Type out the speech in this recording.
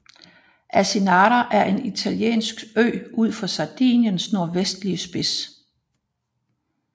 Asinara er en italiensk ø ud for Sardiniens nordvestlige spids